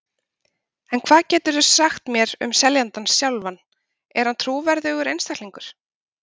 En hvað geturðu sagt mér um seljandann sjálfan, er hann trúverðugur einstaklingur?